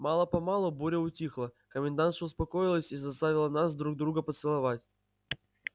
мало-помалу буря утихла комендантша успокоилась и заставила нас друг друга поцеловать